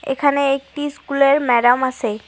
এখানে একটি স্কুলের ম্যাডাম আসে।